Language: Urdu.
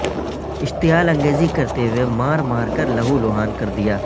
اشتعال انگیزی کرتے ہوئے مار مار کر لہولہان کردیا